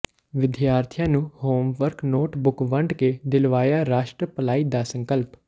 ਵਿਦਿਆਰਥੀਆਂ ਨੂੰ homework notebook ਵੰਡ ਕੇ ਦਿਲਵਾਇਆ ਰਾਸ਼ਟਰ ਭਲਾਈ ਦਾ ਸੰਕਲਪ